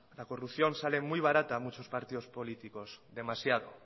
la corrupción sale muy barata a muchos partidos políticos demasiado